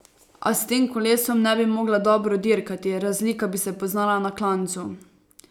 A s tem kolesom ne bi mogla dobro dirkati, razlika bi se poznala na klancu.